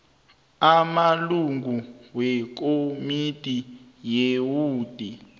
amalungu wekomidi yewodi